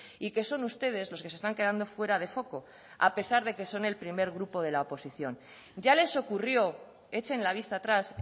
y que son ustedes los que se están quedando fuera de foco a pesar de que son el primer grupo de la oposición ya les ocurrió echen la vista atrás